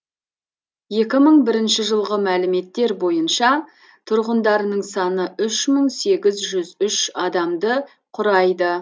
екі мың бірінші жылғы мәліметтер бойынша тұрғындарының саны үш мың сегіз жүз үш адамды құрайды